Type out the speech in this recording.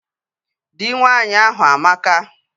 Dị nwaanyị ahụ amaka